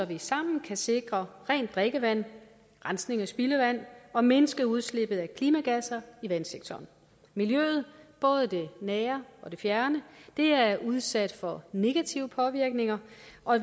vi sammen kan sikre rent drikkevand rensning af spildevand og mindske udslippet af klimagasser i vandsektoren miljøet både det nære og det fjerne er er udsat for negative påvirkninger